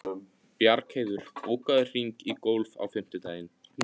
Bjargheiður, bókaðu hring í golf á fimmtudaginn.